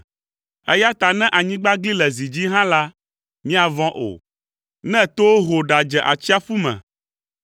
Eya ta ne anyigba gli le zi dzi hã la, míavɔ̃ o, ne towo ho ɖadze atsiaƒu me,